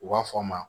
U b'a fɔ a ma